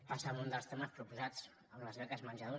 passa en un dels temes proposats amb les beques menjador